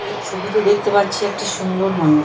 এই ছবিতে দেখতে পাচ্ছি একটি সুন্দর ময়ূর।